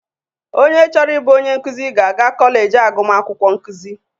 Onye chọrọ ịbụ onye nkụzị ga-aga kọleji agụmakwukwọ nkụzị.